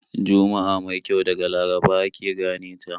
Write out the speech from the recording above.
Juma'a mai kyau daga Laraba ake gane ta.